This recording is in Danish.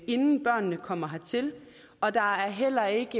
inden børnene kommer hertil og der er heller ikke